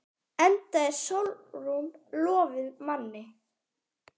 Enda er Sólrún lofuð manni.